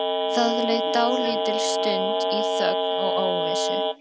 Það leið dálítil stund í þögn og óvissu.